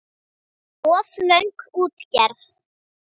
Of löng útgerð.